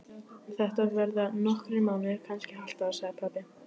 Þetta verða nokkrir mánuðir, kannski hálft ár, sagði pabbi.